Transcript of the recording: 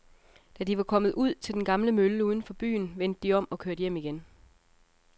Da de var kommet ud til den gamle mølle uden for byen, vendte de om og kørte hjem igen.